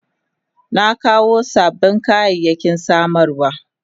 Na kawo sabbin kayayyaki samarwa.